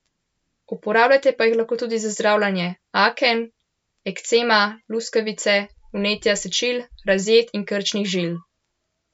Uporabljate pa jih lahko tudi za zdravljenje aken, ekcema, luskavice, vnetja sečil, razjed in krčnih žil.